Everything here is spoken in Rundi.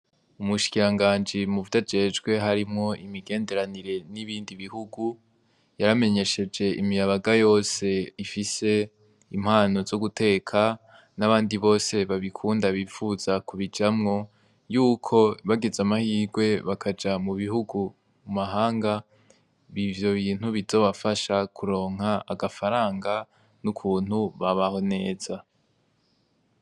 Umushiranganji mu vyo ajejwe harimwo imigenderanire n'ibindi bihugu yaramenyesheje imiyabaga yose ifise impano zo guteka n'abandi bose babikunda bifuza kubijamwo yuko bagize amahirwe bakaja mu bihugu mu mahanga bibe ivyo bintu bizobafasha kuronka agafaranga n'ukuntu babaho neza.